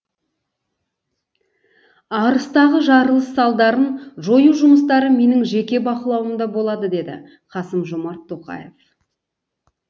арыстағы жарылыс салдарын жою жұмыстары менің жеке бақылауымда болады деді қасым жомарт тоқаев